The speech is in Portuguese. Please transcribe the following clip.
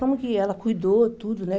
Como que ela cuidou tudo, né?